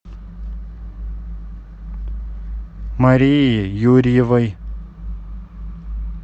марии юрьевой